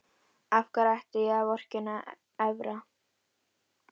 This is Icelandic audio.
Af hverju ætti ég að vorkenna Evra?